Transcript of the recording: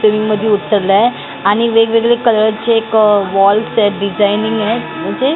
ट्रेनमध्ये उतरलाय आणि वेगवेगळे कलरचे एक वॉल्स आहेत डिझायनिंग आहेत म्हणजे --